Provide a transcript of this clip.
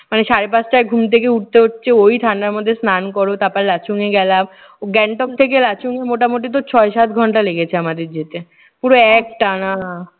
মানে সাড়ে পাঁচটায় ঘুম থেকে উঠতে হচ্ছে। ওই ঠান্ডার মধ্যে স্নান করো। তারপরে লাচুংয়ে গেলাম। গ্যাংটক থেকে লাচুং মোটামুটি তোর ছয় সাত ঘন্টা লেগেছে আমাদের যেতে। পুরো একটানা।